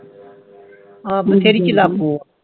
ਆਹ